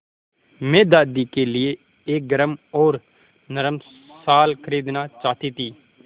मैं दादी के लिए एक गरम और नरम शाल खरीदना चाहती थी